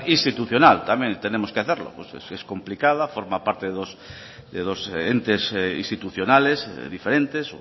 institucional también lo tenemos que hacerlo es complicada forma parte de dos entes institucionales diferentes